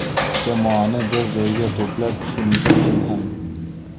Jamoani bir joyga to‘plab tushuntirdim ham.